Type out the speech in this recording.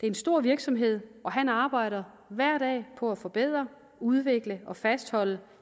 en stor virksomhed og han arbejder hver dag på at forbedre udvikle og fastholde